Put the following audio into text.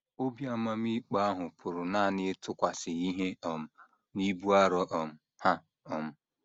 Obi amamikpe ahụ pụrụ nanị ịtụkwasị ihe um n’ibu arọ um ha um.